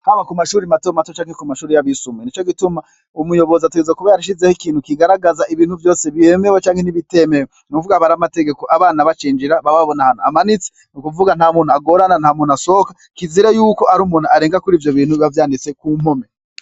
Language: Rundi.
Haba ku mashure matomato canke ku mashure yabisumbuye, umuyozi ategerezwa kuba yarashizeho ikintu kigaragaraza ibintu vyose vyemewe nibitemewe, nubwo aba ari'amategeko abana bacinjira baba babona amanitse, nukuvuga ,nta muntu agorana nta muntu asohoka kizira yuko har'umuruntu arenga kurivyo bintu biba vyanditse ku mpome.